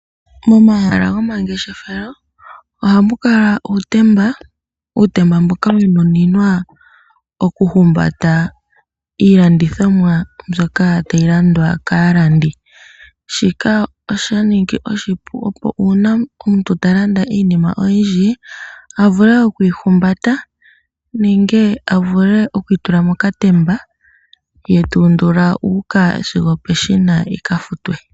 Momahala gomangeshefelo ohamu kala uutemba. Uutemba mboka wa nuninwa okuhumbata iilandithomwa mbyoka tayi landwa kaalandi. Shika osha ningi oshipu opo uuna omuntu talanda iinima oyindji a vule okuyihumbata nenge a vule okuyi tula mokatemba ye tu undula uuka sigo opeshina yi ka futwe.